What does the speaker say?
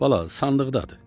Bala, sandıqdadır.